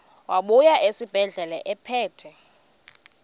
wabuya esibedlela ephethe